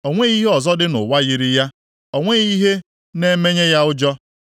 O nweghị ihe ọzọ dị nʼụwa yiri ya, o nweghị ihe na-emenye ya ụjọ.